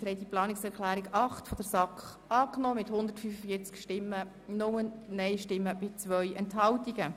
Sie haben die Planungserklärung 5 der SAK angenommen mit 103 Ja- gegen 41 Nein-Stimmen bei 4 Enthaltungen.